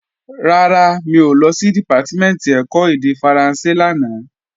Rárá, mi ò lọ sí Dìpátímẹ̀ntì ẹ̀kọ́ èdè Faransé lánàá